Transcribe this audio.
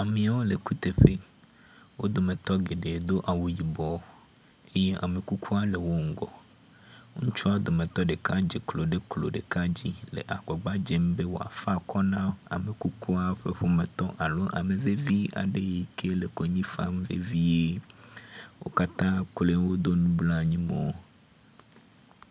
Amewo le kuteƒe. wo dometɔ geɖe do awu yibɔ eye ame kukuwo le wo ŋgɔ. Ŋutsuawo dometɔ ɖeka dze klo ɖe klo ɖeka dzi le agbagba dzem be yeafa akɔ na amekukua ƒe ƒometɔ alo amevevi aɖe yi ke le konyi fam vevie. Wo katã kloe woɖo nublanui mo.